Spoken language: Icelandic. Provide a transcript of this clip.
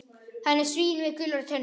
Hann er svín með gular tennur.